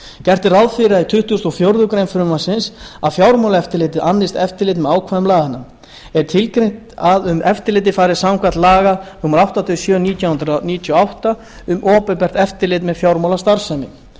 gert er ráð fyrir því í tuttugasta og fjórðu grein frumvarpsins að fjármálaeftirlitið annist eftirlit með ákvæðum laganna er tilgreint að um eftirlitið fari samkvæmt ákvæðum laga númer áttatíu og sjö nítján hundruð níutíu og átta um opinbert eftirlit með fjármálastarfsemi